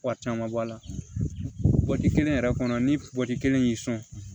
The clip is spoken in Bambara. Wari caman bɔ a la kelen yɛrɛ kɔnɔ ni kelen y'i sɔn